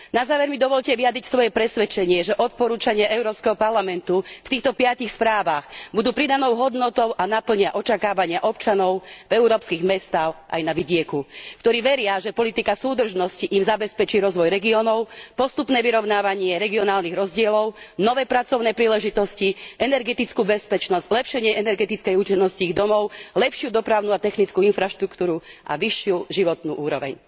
Na záver mi dovoľte vyjadriť svoje presvedčenie, že odporúčania Európskeho parlamentu v týchto piatich správach budú pridanou hodnotou a naplnia očakávanie občanov v európskych mestách aj na vidieku, ktorí veria, že politika súdržnosti im zabezpečí rozvoj regiónov, postupné vyrovnávanie regionálnych rozdielov, nové pracovné príležitosti, energetickú bezpečnosť, zlepšenie energetickej účinnosti ich domov, lepšiu dopravnú a technickú infraštruktúru a vyššiu životnú úroveň.